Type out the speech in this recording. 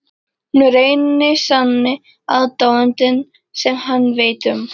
Hún er eini sanni aðdáandinn sem hann veit um.